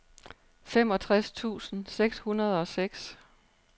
femogtres tusind seks hundrede og seks